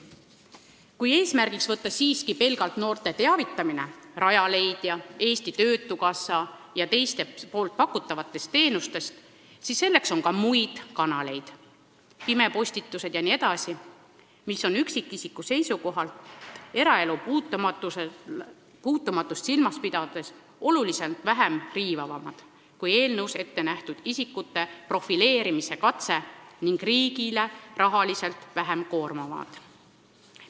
Kui võtta eesmärgiks pelgalt noorte teavitamine Rajaleidja, Eesti Töötukassa ja teiste pakutavatest teenustest, siis on selleks ka muid kanaleid , mis on üksikisiku seisukohalt ja eraelu puutumatust silmas pidades oluliselt vähem riivavad kui eelnõus ette nähtud isikute profileerimise katse ning riigile rahaliselt vähem koormavad.